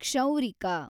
ಕ್ಷೌರಿಕ